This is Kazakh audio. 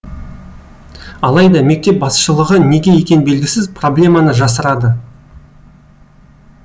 алайда мектеп басшылығы неге екені белгісіз проблеманы жасырады